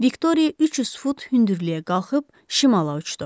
Viktoriya 300 fut hündürlüyə qalxıb şimala uçdu.